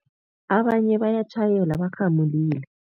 Abanye bayatjhayela barhamulile.